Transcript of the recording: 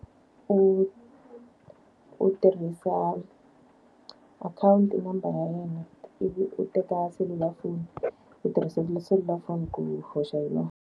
U u tirhisa akhawunti number ya yena. Ivi u teka selulafoni u tirhisa selulafoni ku hoxa hi yona.